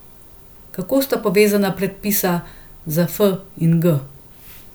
Kako sta povezana predpisa za f in g?